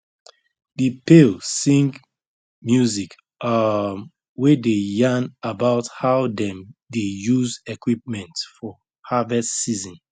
the pale sing music um wey dey yarn about how dem dey use equipment for harvest season